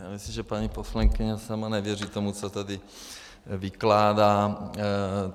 Já myslím, že paní poslankyně sama nevěří tomu, co tady vykládá.